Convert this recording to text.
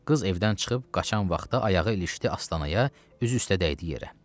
Qız evdən çıxıb qaçan vaxtı ayağı ilişdi astanaya, üzü üstə dəydi yerə.